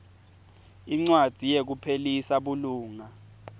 incwadzi yekuphelisa bulunga